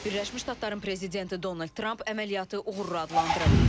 Birləşmiş Ştatların prezidenti Donald Tramp əməliyyatı uğurlu adlandırıb.